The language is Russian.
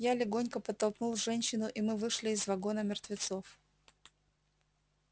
я легонько подтолкнул женщину и мы вышли из вагона мертвецов